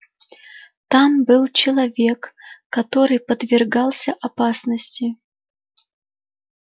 там был человек который подвергался опасности